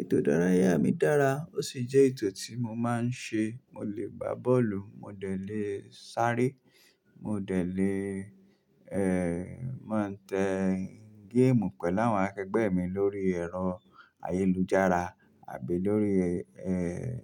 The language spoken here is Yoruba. Ètò ìdárayá mi dára ó sì jẹ́ ètò tí mo máa ń ṣe. Mo lè gbá bọ́ọ̀lù, mo lè dẹ̀ sáré, mo dẹ̀ lè máa tẹ́ géèmù pẹ̀lú àwọn akẹgbẹ́ mi lórí ẹ̀rọ ayélujára àbí lórí